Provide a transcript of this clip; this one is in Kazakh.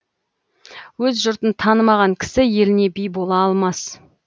өз жұртын танымаған кісі еліне би бола алмас